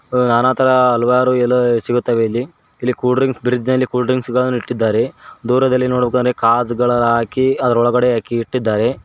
ಅ ನಾನಾಥರ ಹಲವಾರು ಎಲ್ಲಾ ಸಿಗುತ್ತವೆ ಇಲ್ಲಿ ಇಲ್ಲಿ ಕೂಲ್ ಡ್ರಿಂಕ್ಸ್ ಬ್ರಿಸ್ನೆರಿ ಕೂಲ್ ಡ್ರಿಂಕ್ಸ್ ಗಳನ್ನು ಇಟ್ಟಿದ್ದಾರೆ ದೂರದಲ್ಲಿ ನೋಡ್ಬೇಕಂದ್ರೆ ಕಂಜಗೋಳಲಾಕಿ ಅದ್ರೊಳಗೆ ಅಕ್ಕಿ ಇಟ್ಟಿದ್ದಾರೆ.